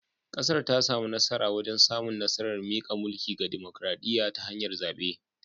Kasar ta samu nasara wajen samun nasarar mika mulki ga dimokradiyya ta hanyar zabe